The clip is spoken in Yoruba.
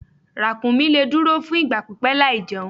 Ràkúnmí lè dúró fún ìgbà pípẹ́ láìjẹun.